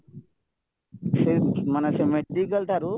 ସେଇ ମାନେ ସେ ମେଡିକାଲ ଠାରୁ